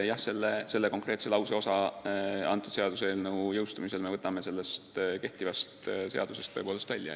Jah, selle konkreetse lauseosa me võtame seaduseelnõu heakskiitmise korral kehtivast seadusest tõepoolest välja.